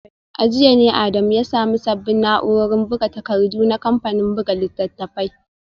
A jiya ne Adamu ya samu sabbin na’urorin buga takardu na kamfanin buga littattafai